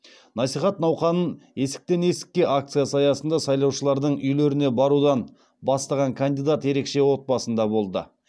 насихат науқанын есіктен есікке акциясы аясында сайлаушылардың үйлеріне барудан бастаған кандидат ерекше отбасында болды